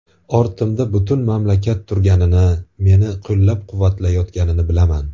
Ortimda butun mamlakat turganini, meni qo‘llab-quvvatlayotganini bilaman.